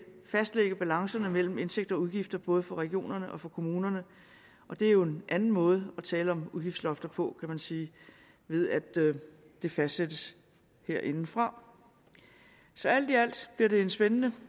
fastlægge balancen mellem indtægter og udgifter både for regionerne og for kommunerne og det er jo en anden måde at tale om udgiftslofter på kan man sige ved at det fastsættes herindefra så alt i alt bliver det en spændende